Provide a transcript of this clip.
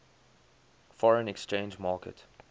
foreign exchange market